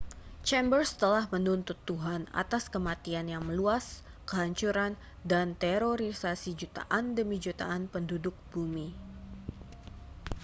chambers telah menuntut tuhan atas kematian yang meluas kehancuran dan terorisasi jutaan demi jutaan penduduk bumi